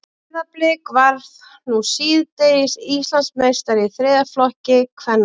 Breiðablik varð nú síðdegis Íslandsmeistari í þriðja flokki kvenna.